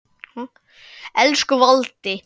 Elsku Valdi.